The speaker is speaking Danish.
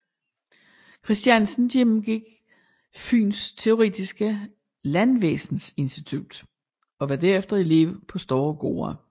Christiansen gennemgik Fyens teoretiske landvæsensinstitut og var derefter elev på større gårde